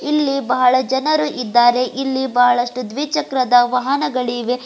ಇಲ್ಲಿ ಬಹಳ ಜನರು ಇದ್ದಾರೆ ಇಲ್ಲಿ ಬಹಳಷ್ಟು ದ್ವಿಚಕ್ರದ ವಾಹನಗಳು ಇವೆ.